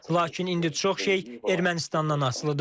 Lakin indi çox şey Ermənistandan asılıdır.